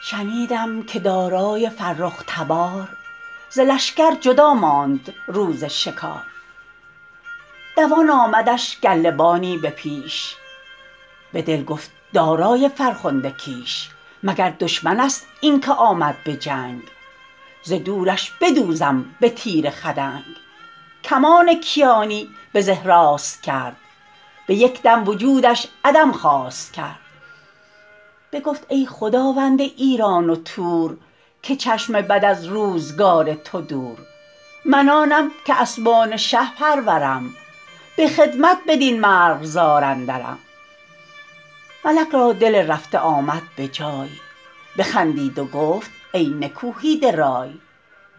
شنیدم که دارای فرخ تبار ز لشکر جدا ماند روز شکار دوان آمدش گله بانی به پیش به دل گفت دارای فرخنده کیش مگر دشمن است این که آمد به جنگ ز دورش بدوزم به تیر خدنگ کمان کیانی به زه راست کرد به یک دم وجودش عدم خواست کرد بگفت ای خداوند ایران و تور که چشم بد از روزگار تو دور من آنم که اسبان شه پرورم به خدمت بدین مرغزار اندرم ملک را دل رفته آمد به جای بخندید و گفت ای نکوهیده رای